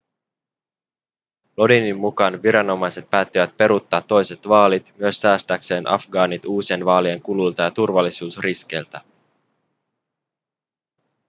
lodinin mukaan viranomaiset päättivät peruuttaa toiset vaalit myös säästääkseen afgaanit uusien vaalien kuluilta ja turvallisuusriskeiltä